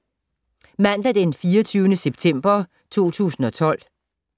Mandag d. 24. september 2012